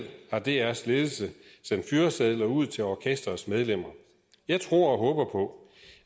har drs ledelse sendt fyresedler ud til orkestrets medlemmer jeg tror og håber på